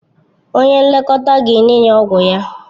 Onye nlekọta ga-enye ya ọgwụ ya.